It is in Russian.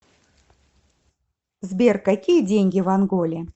сбер какие деньги в анголе